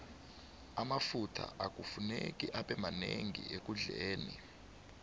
amafutha akufuneki abemanenqi ekudileni